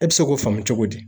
E bi se k'o faamu cogo di!